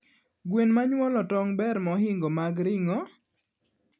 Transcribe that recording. Gwen manyuolo tong ber mahingo mag ringo?